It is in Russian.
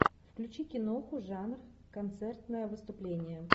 включи киноху жанр концертное выступление